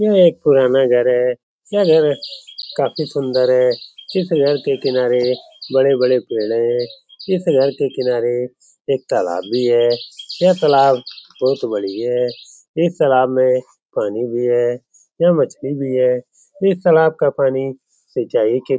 यह एक पुराना घर है यह घर काफी सूंदर है इस घर के किनारे बड़े-बड़े पेड़ है इस घर के किनारे एक तालाब भी है यह तालाब बहुत बड़ी है इस तालाब में पानी भी है वा यह मछली भी है इस तालाब का पानी सिंचाई के --